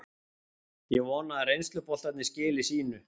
Ég vona að reynsluboltarnir skili sínu.